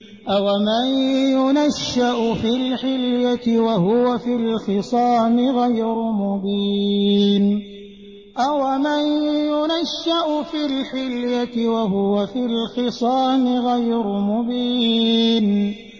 أَوَمَن يُنَشَّأُ فِي الْحِلْيَةِ وَهُوَ فِي الْخِصَامِ غَيْرُ مُبِينٍ